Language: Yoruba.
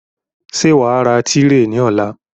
Ṣé wàá ra tírè ní ọ̀la?